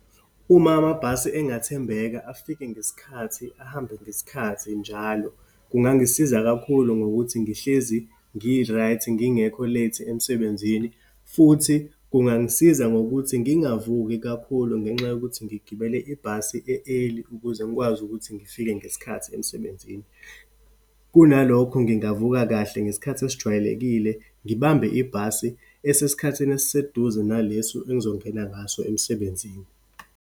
Uma amabhasi engathembeka, afike ngesikhathi, ahambe ngesikhathi njalo, kungangisiza kakhulu ngokuthi ngihlezi ngi-right, ngingekho late emsebenzini. Futhi kungangisiza ngokuthi ngingavuki kakhulu ngenxa yokuthi ngigibele ibhasi e-early ukuze ngikwazi ukuthi ngifike ngesikhathi emsebenzini. Kunalokho ngingavuka kahle ngesikhathi esijwayelekile, ngibambe ibhasi esesikhathini esiseduze nalesu engizongena ngaso emsebenzini.